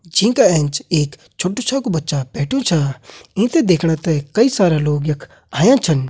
जिंका ऐंच एक छोटू छै कु बच्चा बैठ्यूं छा ईंथें दिखणेथें कई सारा लोग यख अयां छन।